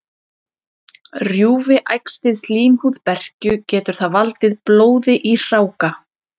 Rjúfi æxlið slímhúð berkju, getur það valdið blóði í hráka.